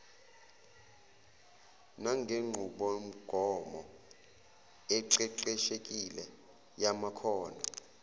nangenqubomgomo eqeqeshekile yamakhono